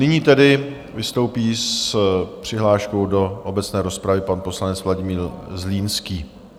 Nyní tedy vystoupí s přihláškou do obecné rozpravy pan poslanec Vladimír Zlínský.